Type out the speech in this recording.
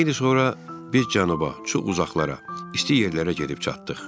Xeyli sonra biz cənuba, çox uzaqlara, isti yerlərə gedib çatdıq.